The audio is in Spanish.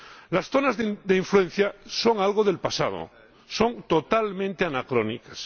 Las zonas de influencia son algo del pasado, son totalmente anacrónicas.